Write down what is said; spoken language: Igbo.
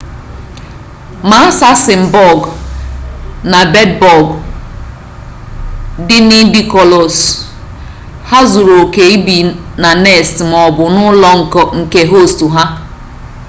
ma assassin-bọg na bed-bọg dị nidikolous ha zuru oke ibi na nest maọbụ n'ụlọ nke hostu ha